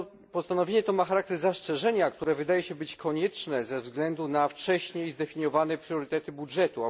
Postanowienie to ma charakter zastrzeżenia, które wydaje się być konieczne ze względu na wcześniej zdefiniowane priorytety budżetu.